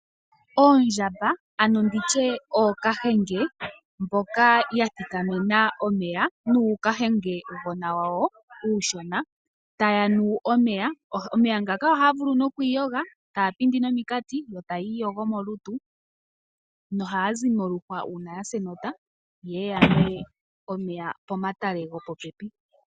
Oondjamba ano nditye ookahenge mboka ya thikamena omeya nuukahengegona wawo taya nu omeya. Omeya ngaka ohaya vulu okwiiyoga taya pindi nominkati yo taya iyogo molutu nohaya zi moluhwa uuna yasa enota ye ye yanwe omeya pomatale gopopepi.